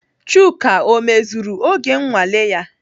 Chuka ọ mezuru oge nnwale ya?